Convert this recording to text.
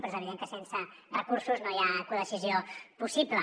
però és evident que sense recursos no hi ha codecisió possible